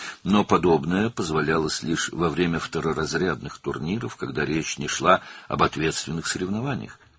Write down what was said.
Lakin belə hallara yalnız ikinci dərəcəli turnirlər zamanı, məsuliyyətli yarışlar barədə söhbət getməyəndə icazə verilirdi.